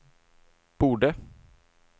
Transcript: borde